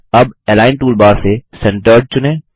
अब align toolbar से centred चुनें